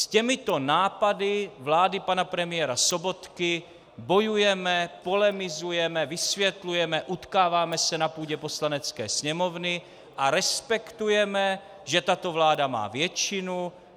S těmito nápady vlády pana premiéra Sobotky bojujeme, polemizujeme, vysvětlujeme, utkáváme se na půdě Poslanecké sněmovny a respektujeme, že tato vláda má většinu.